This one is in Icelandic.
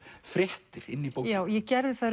fréttir inn í bókina ég